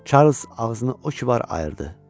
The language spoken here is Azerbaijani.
Çarlz ağzını o kivar ayırdı.